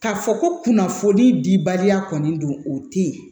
K'a fɔ ko kunnafoni dibaliya kɔni don o tɛ ye